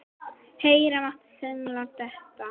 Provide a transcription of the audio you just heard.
Heyra mátti saumnál detta.